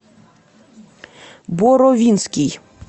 боровинский